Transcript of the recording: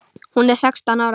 Hún er sextán ára.